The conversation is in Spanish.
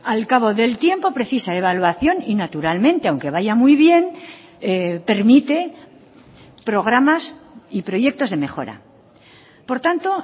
al cabo del tiempo precisa evaluación y naturalmente aunque vaya muy bien permite programas y proyectos de mejora por tanto